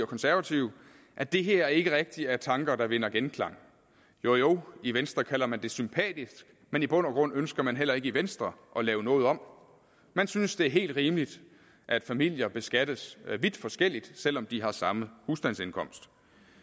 konservative at det her ikke rigtig er tanker der vinder genklang jo jo i venstre kalder man det sympatisk men i bund og grund ønsker man heller ikke i venstre at lave noget om man synes det er helt rimeligt at familier beskattes vidt forskelligt selv om de har samme husstandsindkomst